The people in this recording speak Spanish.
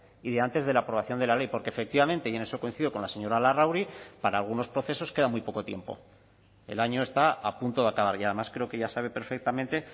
y de antes de la aprobación de la ley porque efectivamente y en eso coincido con la señora larrauri para algunos procesos queda muy poco tiempo el año está a punto de acabar y además creo que ya sabe perfectamente